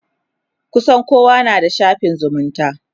kusan kowa na da shafin zumunta